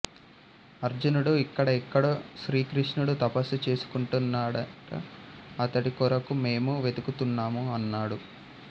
అర్జునుడు ఇక్కడ ఎక్కడో శ్రీకృష్ణుఁడు తపస్సు చేసుకుంటున్నాడఁట అతడి కొఱకు మేము వెదుకుతున్నాము అన్నాడు